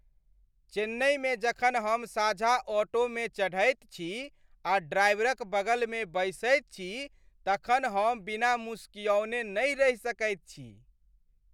चेन्नईमे जखन हम साझा ऑटोमे चढ़ैत छी आ ड्राइवरक बगलमे बैसैत छी तखन हम बिना मुसुकिआने नहि रहि सकैत छी।